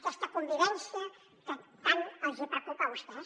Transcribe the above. aquesta convivència que tant els hi preocupa a vostès